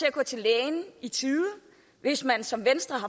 at gå til lægen i tide hvis man som venstre har